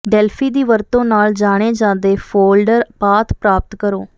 Delphi ਦੀ ਵਰਤੋਂ ਨਾਲ ਜਾਣੇ ਜਾਦੇ ਫੋਲਡਰ ਪਾਥ ਪ੍ਰਾਪਤ ਕਰੋ